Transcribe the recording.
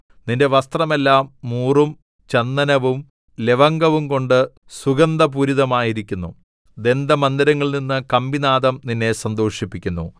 നിന്റെ വസ്ത്രമെല്ലാം മൂറും ചന്ദനവും ലവംഗവുംകൊണ്ട് സുഗന്ധപൂരിതമായിരിക്കുന്നു ദന്തമന്ദിരങ്ങളിൽനിന്ന് കമ്പിനാദം നിന്നെ സന്തോഷിപ്പിക്കുന്നു